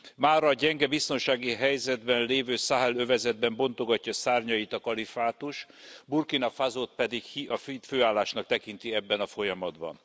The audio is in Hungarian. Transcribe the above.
Mára a gyenge biztonsági helyzetben lévő Száhel övezetben bontogatja szárnyait a kalifátus, Burkina Fasót pedig hídfőállásnak tekinti ebben a folyamatban.